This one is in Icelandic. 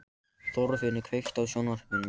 Þorfinnur, kveiktu á sjónvarpinu.